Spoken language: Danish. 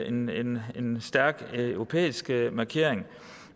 en en stærk europæisk markering